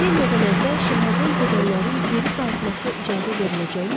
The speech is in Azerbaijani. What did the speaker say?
epidemiyadan əvvəl şəhərdən gedənlərin geri qayıtmasına icazə veriləcəyimi?